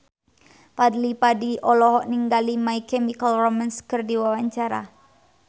Fadly Padi olohok ningali My Chemical Romance keur diwawancara